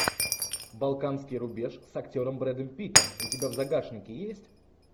балканский рубеж с актером брэдом питтом у тебя в загашнике есть